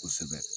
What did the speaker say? Kosɛbɛ